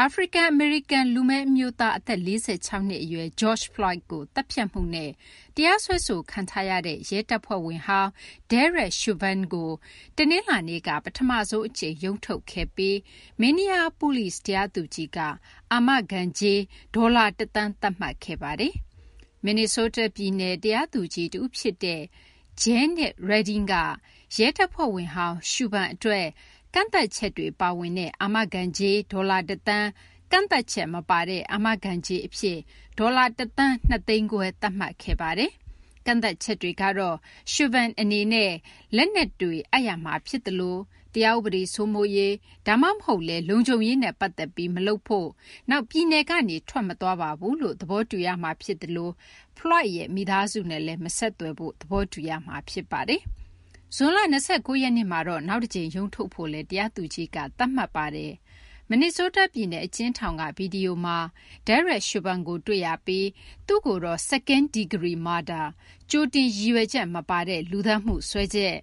အာဖရိကန် အမေရိကန် လူမည်း အမျိုးသား အသက် ၄၆ နှစ် အရွယ် George Floyd ကို သတ်ဖြတ်မှုနဲ့ တရားစွဲဆိုခံထားရတဲ့ ရဲတပ်ဖွဲ့ဝင်ဟောင်း Derek Chauvin ကို တနလာၤနေ့က ပထမဆုံး အကြိမ် ရုံးထုတ်ခဲ့ပြီး Minneapolis တရားသူကြီးက အာမခံကြေး ဒေါ်လာ ၁ သန်း သတ်မှတ်ခဲ့ပါတယ်။ မင်နီဆိုးတား ပြည်နယ် တရားသူကြီး တဦး ဖြစ်တဲ့ Jeannice Reding ကရဲတပ်ဖွဲ့ဝင်ဟောင်း Chauvin အတွက် ကန့်သတ်ချက်တွေ ပါဝင်တဲ့ အာမခံကြေး ဒေါ်လာ ၁ သန်း၊ ကန့်သတ်ချက် မပါတဲ့ အာမခံကြေး အဖြစ် ဒေါ်လာ ၁ သန်း ၂သိန်းခွဲ သတ်မှတ်ခဲ့ပါတယ်။ ကန့်သတ်ချက်တွေကတော့ Chauvin အနေနဲ့ လက်နက်တွေ အပ်ရမှာ ဖြစ်သလို ၊ တရားဥပဒေ စိုးမိုးရေး ဒါမှမဟုတ်လည်း လုံခြုံရေးနဲ့ ပတ်သက်ပြီး မလုပ်ဖို့၊ နောက် ပြည်နယ်ကနေ ထွက်မသွားပါဘူးလို့ သဘောတူရမှာ ဖြစ်သလို Floyd ရဲ့ မိသားစုနဲ့လည်း မဆက်သွယ်ဖို့ သဘောတူရမှာ ဖြစ်ပါတယ်။ ဇွန်လ ၂၉ ရက်နေ့မှာ နောက်တကြိမ် ရုံးထုတ်ဖို့လည်း တရားသူကြီးက သတ်မှတ်ခဲ့ပါတယ်။ မင်နီဆိုးတား ပြည်နယ် အကျဉ်းထောင်က ဗွီဒီယိုမှာ Derek Chauvin ကိုတွေ့ရပြီး သူ့ကိုတော့ Second degree murder -ကြိုတင်ရည်ရွက်ချက် မပါတဲ့ လူသတ်မှုစွဲချက်၊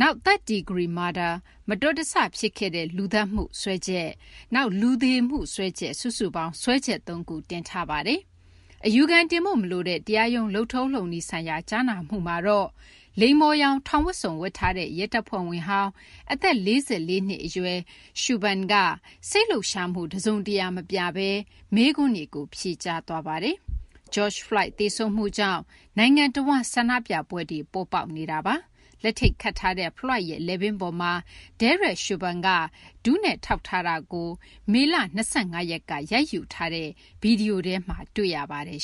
နောက် Third degree murder - မတော်တဆ ဖြစ်ခဲ့တဲ့ လူသတ်မှု စွဲချက်၊ နောက် လူသေမှု စွဲချက် စုစုပေါင်း စွဲချက် သုံးခုတင်ထားပါတယ်။ အပြစ်ရှိ မရှိ ပြောစရာ မလိုတဲ့ တရားရုံး လုပ်ထုံး လုပ်နည်းဆိုင်ရာ ကြားနာမှုမှာတော့လိမ္မော်ရောင် ထောင်ဝတ်စုံ ဝတ်ထားတဲ့ ရဲတပ်ဖွဲ့ဝင်ဟောင်း အသက် ၄၄ နှစ် အရွယ် Chauvin က စိတ်လှုပ်ရှားမှု တစုံတရာ မပြဘဲ မေးခွန်းတွေကို ဖြေကြားသွားပါတယ်။ George Floyd သေဆုံးမှုကြောင့် နိုင်ငံ တဝန်း ဆန္ဒပြပွဲတွေ ပေါ်ပေါက်နေတာပါ။ လက်ထိပ်ခတ်ထားတဲ့ Floyd ရဲ့ လည်ပင်းပေါ်မှာ Derek Chauvin က ဒူးနဲ့ ထောက်ထားတာကို မေလ ၂၅ ရက်က ရိုက်ယူထားတဲ့ ဗွီဒီယိုထဲမှာ တွေ့ရပါတယ်